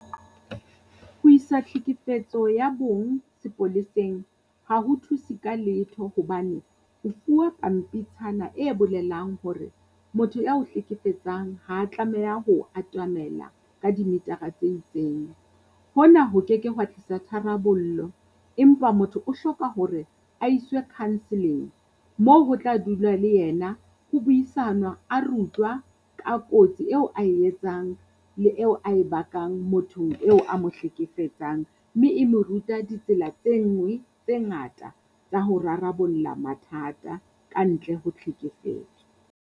Ho isa tlhekefetso ya bong sepoleseng ha ho thuse ka letho hobane, o fuwa pampitshana e bolelang hore motho ao hlekefetsang ha tlameha ho o atamela ka di-meter-ra tse itseng. Hona ho keke hwa tlisa tharabollo, empa motho o hloka hore a iswe counselling moo ho tla dulwa le yena ho buisana a rutwa ka kotsi eo ae etsang le eo ae bakang mothong eo a mo hlekefetsang. Mme e mo ruta ditsela tse ngwe tse ngata tsa ho rarabolla mathata ka ntle ho tlhekefetso.